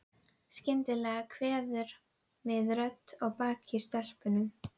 Skyndilega kveður við rödd að baki stelpunum.